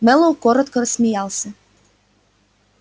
мэллоу коротко рассмеялся